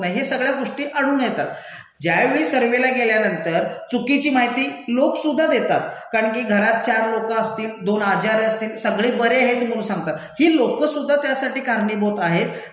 नाही. हे सगळ्या गोष्टी अडून येतात. ज्यावेळी सर्व्हेला गेल्यानंतर चुकीची माहिती लोकसुद्धा देतात कारण की घरात चार लोकं असतील, दोन आजारी असतील, सगळे बरे हेत म्हणून सांगतात. ही लोकंसुद्धा त्यासाठी कारणीभूत आहेत,